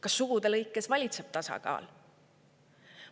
Kas sugude lõikes valitseb tasakaal?